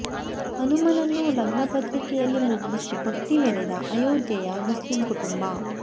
ಹನುಮನನ್ನು ಲಗ್ನ ಪತ್ರಿಕೆಯಲ್ಲಿ ಮುದ್ರಿಸಿ ಭಕ್ತಿ ಮೆರೆದ ಅಯೋಧ್ಯೆಯ ಮುಸ್ಲಿಂ ಕುಟುಂಬ